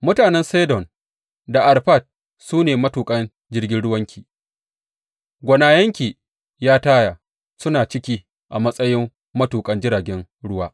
Mutanen Sidon da Arfad su ne matuƙan jirgin ruwanki; gwanayenki, ya Taya, suna ciki a matsayi matuƙan jiragen ruwa.